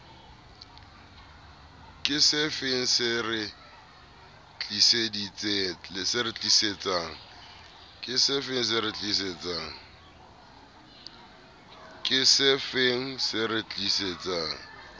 ke sefeng se re tlisetsang